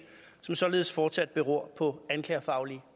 som således fortsat beror på anklagerfaglige